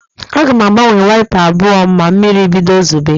Aga m agbanwe waịpa abụọ m ma mmiri bido zobe.